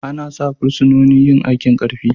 Ana sa fursunonin yin aikin Karfi.